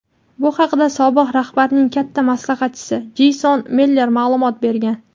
Bu haqda sobiq rahbarning katta maslahatchisi Jeyson Miller ma’lumot bergan.